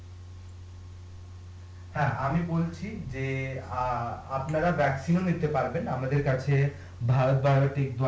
হ্যাঁ, আমি বলছি যে অ্যাঁ আপনারা ও নিতে পারবেন আমাদের কাছে